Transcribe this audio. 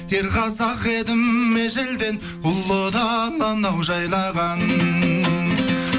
ер қазақ едім ежелден ұлы даланы ау жайлаған